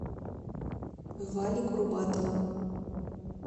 вали курбатова